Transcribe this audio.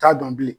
T'a dɔn bilen